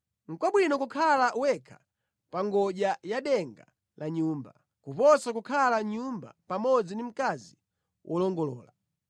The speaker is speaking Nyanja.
Nʼkwabwino kukhala wekha pa ngodya ya denga la nyumba, kuposa kukhala mʼnyumba pamodzi ndi mkazi wolongolola.